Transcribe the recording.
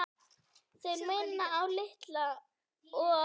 Þeir minna á Litla og